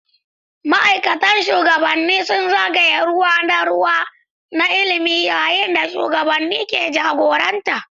Mataimakan shugabanni suna zagaya ruwa na ruwa na ilimi yayin da shugabanni ke jagoranta.